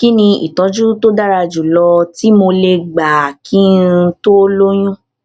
kí ni ìtójú tó dára jù lọ tí mo lè gbà kí n tó lóyún